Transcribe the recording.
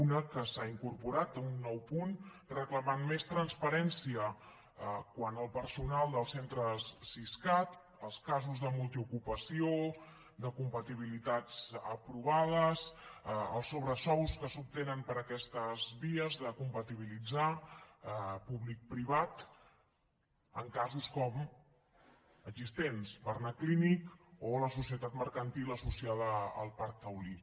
una que s’hi ha incorporat un nou punt que reclama més transparència quant al personal dels centres siscat els casos de multiocupació de compatibilitats aprovades els sobresous que s’obtenen per aquestes vies de compatibilitzar públic privat en casos com existents barnaclínic o la societat mercantil associada al parc taulí